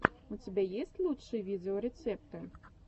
у тебя есть лучшие видеорецепты